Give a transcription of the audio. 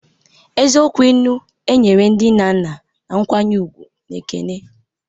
Eziokwu ilu, e nyere ndị nna nna na nkwanye ùgwù na ekele.